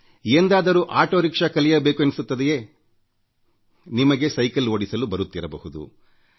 ಎಂದಾದರೂ auto rickshaw ಓಡಿಸಬೇಕು ಎನ್ನಿಸುತ್ತದೆಯೇ ನಿಮಗೆ ಸೈಕಲ್ ಓಡಿಸಲು ಬರುತ್ತಿರಬಹುದು